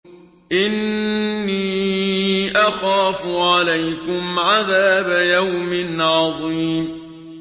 إِنِّي أَخَافُ عَلَيْكُمْ عَذَابَ يَوْمٍ عَظِيمٍ